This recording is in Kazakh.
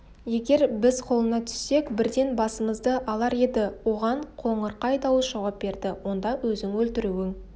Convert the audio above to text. егер біз қолына түссек бірден басымызды алар еді оған қоңырқай дауыс жауап берді онда өзің өлтіруің